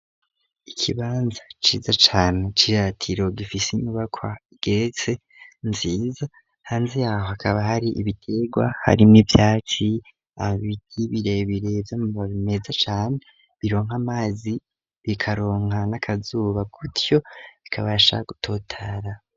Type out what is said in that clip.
Ikibanza ciza cane c'iratiro gifise inyubakwa igeretse nziza hanze yaho hakaba hari ibitegwa hari n'ivyatsi ibiti birebire vy'amababi meza cane bironka amazi bikaronka n'akazuba gutyo bikabasha gutotara.